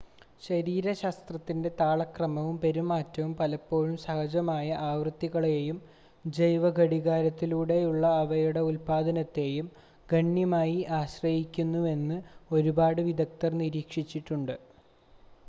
ശരീരശാസ്ത്രത്തിൻ്റെ താളക്രമവും പെരുമാറ്റവും പലപ്പോഴും സഹജമായ ആവൃത്തികളെയും ജൈവഘടികാരത്തിലൂടെയുള്ള അവയുടെ ഉൽപാദനത്തെയും ഗണ്യമായി ആശ്രയിക്കുന്നുവെന്ന് ഒരുപാട് വിദഗ്ദർ നിരീക്ഷിച്ചിട്ടുണ്ട്